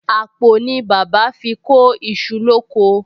Àpò ni bàbá fi kó iṣu lóko